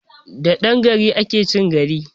Da dan gari ake chin gari!